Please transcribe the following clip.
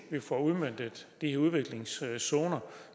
vi får udmøntet de her udviklingszoner